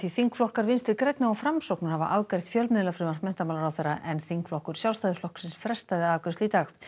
þingflokkar Vinstri grænna og Framsóknar hafa afgreitt fjölmiðlafrumvarp menntamálaráðherra en þingflokkur Sjálfstæðisflokks frestaði afgreiðslu í dag